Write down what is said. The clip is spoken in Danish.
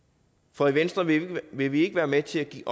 for i venstre vil vil vi ikke være med til at give